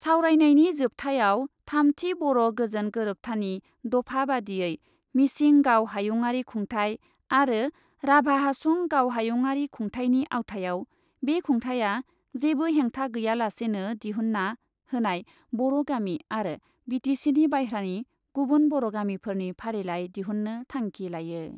सावरायनायनि जोबथायाव थामथि बर' गोजोन गोरोबथानि दफा बादियै मिसिं गाव हायुङारि खुंथाइ आरो राभा हासं गाव हायुङारि खुंथाइनि आवथायाव बे खुंथाया जेबो हेंथा गैयालासेनो दिहुन्ना होनाय बर' गामि आरो बि टि सिनि बायह्रानि गुबुन बर' गामिफोरनि फारिलाइ दिहुन्नो थांखि लायो।